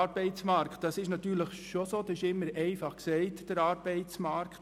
Es ist natürlich so, dass das Wort «Arbeitsmarkt» immer einfach gesagt werden kann.